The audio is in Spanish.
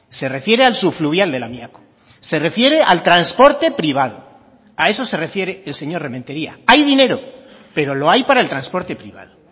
se refiere al subfluvial de lamiako se refiere al transporte privado a eso se refiere el señor rementeria hay dinero pero lo hay para el transporte privado